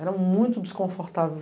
Era muito desconfortável.